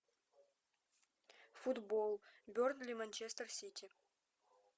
футбол бернли манчестер сити